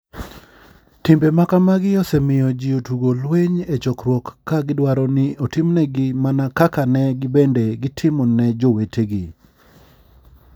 Timbe makamagi osemiyo ji otugo lweny e chokruok ka gidwaro ni otimnegi mana kaka ne gibende gitimo ne jowetegi.